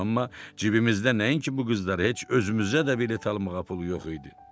Amma cibimizdə nəinki bu qızlara, heç özümüzə də bilet almağa pul yox idi.